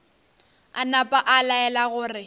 a napa a laela gore